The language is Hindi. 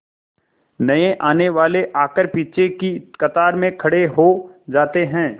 नए आने वाले आकर पीछे की कतार में खड़े हो जाते हैं